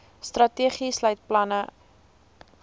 strategie sluit planne